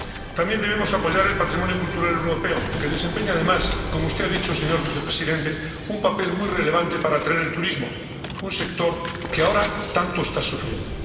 También debemos apoyar el patrimonio cultural europeo, que desempeña además —como usted ha dicho, señor vicepresidente— un papel muy relevante para atraer al turismo, un sector que ahora tanto está sufriendo.